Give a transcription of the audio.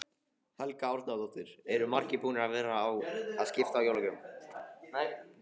Helga Arnardóttir: Eru margir búnir að vera að skipta jólagjöfunum?